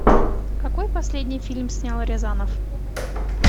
какой последний фильм снял рязанов